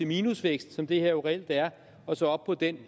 minusvækst som det her jo reelt er og så op på den